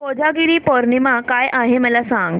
कोजागिरी पौर्णिमा काय आहे मला सांग